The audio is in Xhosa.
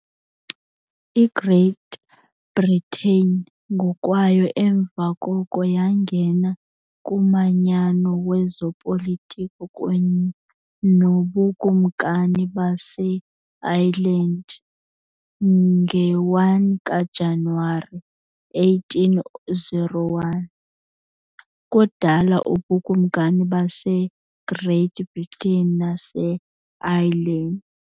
IGreat Britain ngokwayo emva koko yangena kumanyano wezopolitiko kunye noBukumkani baseIreland nge-1 kaJanuwari 1801, ukudala uBukumkani baseGreat Britain naseIreland.